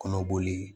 Kɔnɔ boli